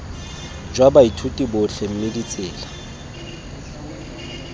jwa baithuti botlhe mme ditsela